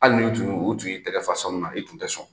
Hali ni tun y'o o tun y'i tigɛ fa sanu na, i kun te sɔn